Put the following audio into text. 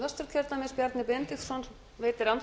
frú forseti það er